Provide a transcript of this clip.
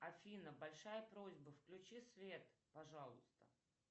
афина большая просьба включи свет пожалуйста